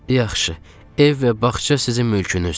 "Yaxşı, ev və bağça sizin mülkünüzdür.